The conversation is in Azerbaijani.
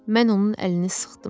Mən onun əlini sıxdım.